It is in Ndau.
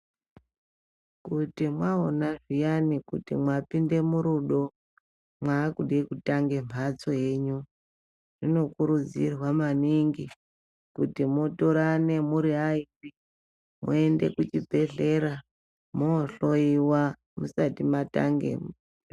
Kuti maona zviyani kuti mwapinde murudo makude kutange mhatso yenyu zviyani zvinokurudzirwa maningi kuti mutorane muri airi moende kuchibhedhleya mohloyiwa musati matange mhuri.